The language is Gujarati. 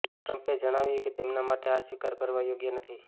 ટ્રમ્પે જણાવ્યું કે તેમના માટે આ સ્વીકાર કરવા યોગ્ય નથી